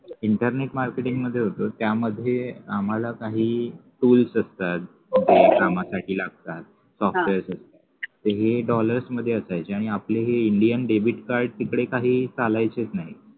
internet marketing मध्ये होतो त्यामध्ये हे आम्हाला काही tools असतात जे कामासाठी लागतात software साठी तर हे dollars मध्ये असायचे आणि आपले हे indian debit card तिकडे काही चालायचेच नाही.